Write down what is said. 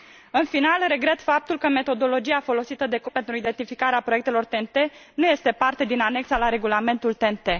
În final, regret faptul că metodologia folosită de Comisie pentru identificarea proiectelor TEN T nu este parte din anexa la regulamentul TEN T.